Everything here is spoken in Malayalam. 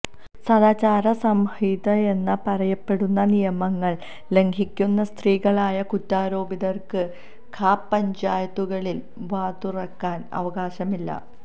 സദാചാരസംഹിതയെന്ന് പറയപ്പെടുന്ന നിയമങ്ങള് ലംഘിക്കുന്ന സ്ത്രീകളായ കുറ്റാരോപിതര്ക്ക് ഖാപ് പഞ്ചായത്തുകളില് വാതുറക്കാന് അവകാശമില്ല